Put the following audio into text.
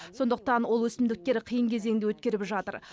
сондықтан ол өсімдіктер қиын кезеңді өткеріп жатыр